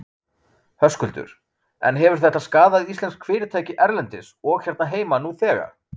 Höskuldur: En hefur þetta skaðað íslensk fyrirtæki erlendis og hérna heima nú þegar?